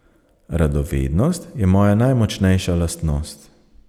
Radovednost je moja najmočnejša lastnost.